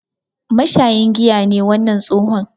Mashayin giya ne wannan tsohon.